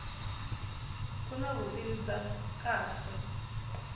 ku na vutivi bya kahle